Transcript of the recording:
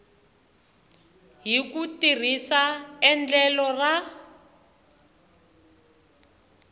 hi ku tirhisa endlelo ra